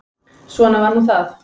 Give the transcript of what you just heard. Svona var nú það.